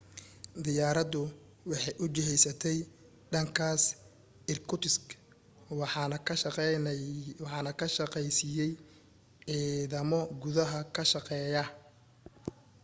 diyaaradu waxay u jihaysatay dhankaas irkutsk waxaana ka shaqeeysiiyay ciidamo gudaha ka shaqeeya